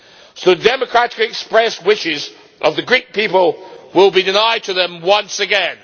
So the democratically expressed wishes of the Greek people will be denied to them once again.